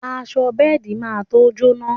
Aṣọ bẹ́ẹ̀di má to jóná